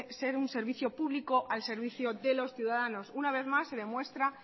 ser un servicio público al servicio de los ciudadanos una vez más se demuestra